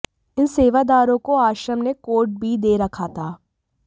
इन सेवादारों को आश्रम ने कोड बी दे रखा था